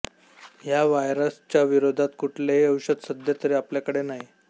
ह्या व्हायरस च्या विरोधात कुठलेही औषध सध्या तरी आपल्याकडे नाही